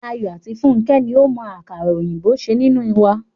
Ayọ̀ àti Fúnkẹ́ ni ó mọ àkàrà òyìnbó ṣe nínú wa.